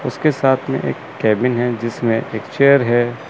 उसके साथ में एक केबिन है जिसमें एक चेयर है।